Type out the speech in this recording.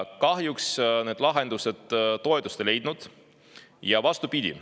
Kahjuks need lahendused toetust ei leidnud, vastupidi.